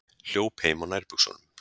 Hljóp heim á nærbuxunum